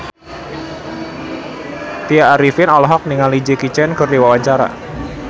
Tya Arifin olohok ningali Jackie Chan keur diwawancara